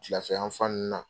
Filafɛ yan fan ninnu na.